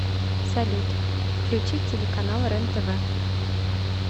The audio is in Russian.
салют включить телеканал рен тв